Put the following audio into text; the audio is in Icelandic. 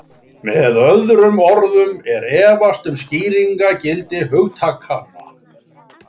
Með öðrum orðum er efast um skýringargildi hugtakanna.